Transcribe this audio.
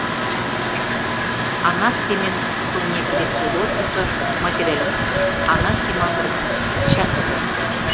анаксимен көне грек философы материалист анаксимандрдің шәкірті